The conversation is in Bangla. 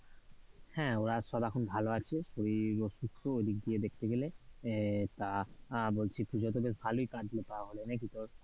হ্যাঁ ওরা সব এখন ভালো আছে। শরীরও সুস্থ ওই দিক দিয়ে দেখতে গেলে আহ তা আ বলছি পূজা তো বেশ ভালই কাটল তাহলে নাকি তোর?